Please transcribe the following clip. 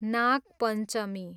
Nag Panchami